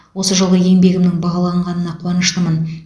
осы жылғы еңбегімнің бағаланғанына қуаныштымын